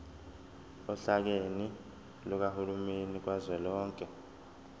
ohlakeni lukahulumeni kazwelonke